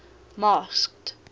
masked